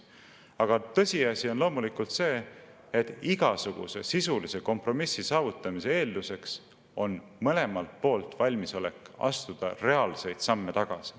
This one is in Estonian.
Aga tõsiasi on loomulikult see, et igasuguse sisulise kompromissi saavutamise eeldus on mõlemalt poolt valmisolek astuda reaalseid samme tagasi.